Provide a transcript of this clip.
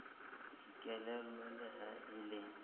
dikelello le ha e le